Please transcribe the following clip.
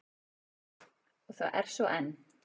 Og það er svo enn.